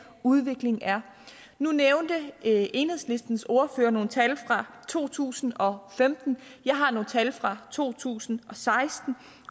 udviklingen er nu nævnte enhedslistens ordfører nogle tal fra to tusind og femten jeg har nogle tal fra to tusind og seksten